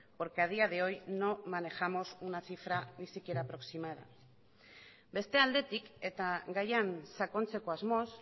porque a día de hoy no manejamos una cifra ni siquiera aproximada beste aldetik eta gaian sakontzeko asmoz